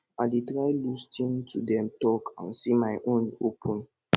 i dey try lis ten to dem talk and say my own open